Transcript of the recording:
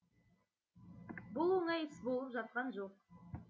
бұл оңай іс болып жатқан жоқ